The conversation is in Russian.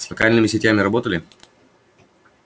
с локальными сетями работали